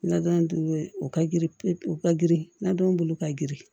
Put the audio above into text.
Nadon o ka girin pewu u ka girin nadon bolo ka girin